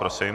Prosím.